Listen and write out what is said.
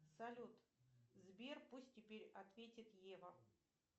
салют сбер пусть теперь ответит ева